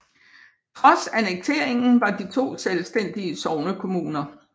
Trods annekteringen var de to selvstændige sognekommuner